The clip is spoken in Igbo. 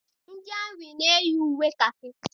Ndị amị na-eyi uwe kakị.